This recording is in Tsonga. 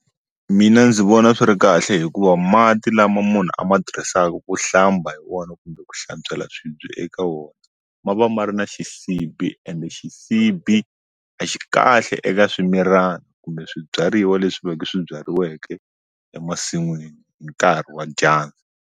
Mina ndzi vona swi ri kahle hikuva mati lama munhu a ma tirhisaka ku hlamba hi wona kumbe ku hlantswela swibye eka wona ma va ma ri na xisibhi ende xisibhi a xi kahle eka swimilana kumbe swibyariwa leswi ve ke swi byariweke emasin'wini hi nkarhi wa dyandza.